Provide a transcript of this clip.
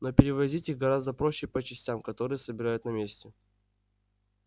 но перевозить их гораздо проще по частям которые собирают на месте